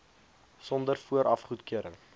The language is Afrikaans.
sonder vooraf goedkeuring